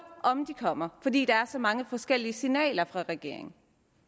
og om de kommer fordi der kommer så mange forskellige signaler fra regeringen